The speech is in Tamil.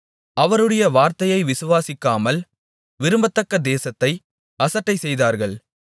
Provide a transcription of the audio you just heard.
அவருடைய வார்த்தையை விசுவாசிக்காமல் விரும்பத்தக்க தேசத்தை அசட்டைச்செய்தார்கள்